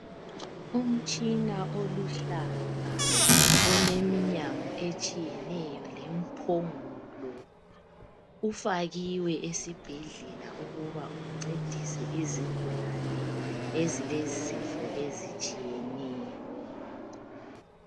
Umtshina oluhlaza. Oleminyango etshiyeneyo lempongolo. Ufakiwe esibhedlela ukuba uncedise izigulane ezilezifo ezitshiyeneyo.